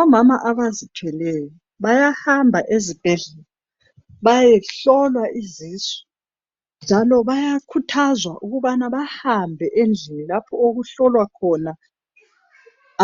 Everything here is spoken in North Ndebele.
Omama abazithweleyo bayahamba ezibhedlela bayehlolwa izisu njalo bayakhuthazwa ukubana bahambe lapho okuhlolwa khona